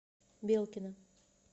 белкина